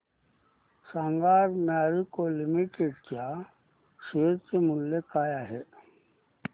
सांगा आज मॅरिको लिमिटेड च्या शेअर चे मूल्य काय आहे